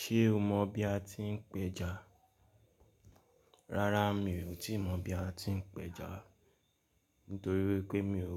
Ṣé o mọ bí a ti ń péja? Rárá mi ò tíì mọ̀ bí a ti ń péja nítorí wípé mi ò